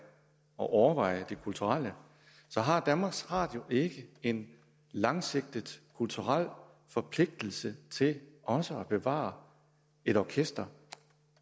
og overveje det kulturelle så har danmarks radio ikke en langsigtet kulturel forpligtelse til også at bevare et orkester